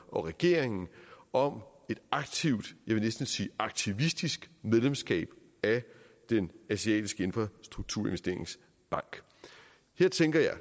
og regeringen om et aktivt jeg vil næsten sige aktivistisk medlemskab af den asiatiske infrastrukturinvesteringsbank her tænker jeg